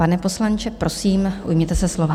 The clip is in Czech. Pane poslanče, prosím, ujměte se slova.